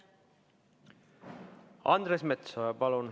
Andres Metsoja, palun!